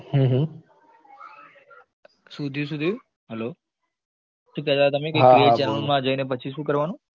હમ હમ શું થયું શું થયું hello શું કેતા તા તમે? હા હા create chanel માં જઈને પછી શું કરવાનું?